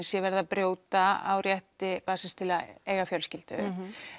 sé verið að brjóta á rétti barnsins til að eiga fjölskyldu